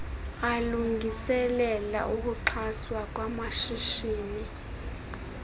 alungiselela ukuxhaswa kwamashishini